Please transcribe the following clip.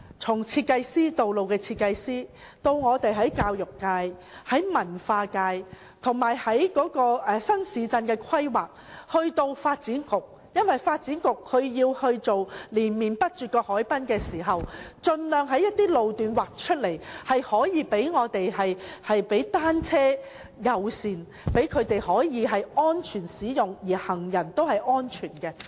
此事涉及道路設計師、教育界、文化界，以至負責新市鎮規劃的發展局，因為發展局興建連綿不絕的海濱長廊時，要盡量劃出一些路段，以落實單車友善政策，讓踏單車的人可以安全使用，而行人亦能安全。